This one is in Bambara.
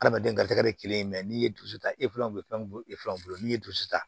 Adamaden garijigɛ ye kelen ye n'i ye dusu ta e fila bolo n'i ye dusu ta